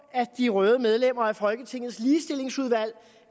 at de røde medlemmer af folketingets ligestillingsudvalg